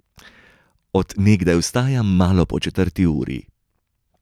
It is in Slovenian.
Od nekdaj vstajam malo po četrti uri.